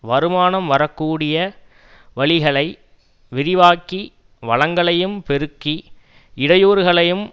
வருமானம் வரக்கூடிய வழிகளை விரிவாக்கி வளங்களையும் பெருக்கி இடையூறுகளையும்